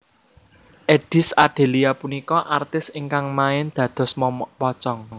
Eddies Adelia punika artis ingkang main dados momok pocong